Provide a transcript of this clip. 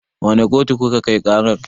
Wane kotu kuka kai ƙarar?